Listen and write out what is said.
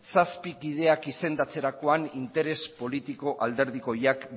zazpi ideiak izendatzerakoan interes politiko alderdikoiak